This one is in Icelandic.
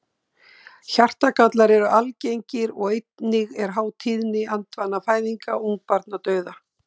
Hjartagallar eru algengir og einnig er há tíðni andvana fæðinga og ungbarnadauða.